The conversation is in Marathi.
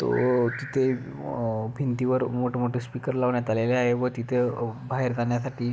तो तिथे अ भिंतीवर मोठे मोठे स्पीकर लावण्यात आलेले आहे व तिथ अ बाहेर जाण्यासाठी--